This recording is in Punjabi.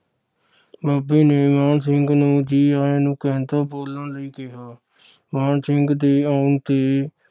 ਬਾਬੇ ਨੇ ਮਾਣ ਸਿੰਘ ਨੂੰ ਜੀ ਆਇਆ ਨੂੰ ਕਹਿੰਦਾ ਬੋਲਣ ਲਈ ਕਿਹਾ। ਮਾਣ ਸਿੰਘ ਦੇ ਆਉਣ ਤੇ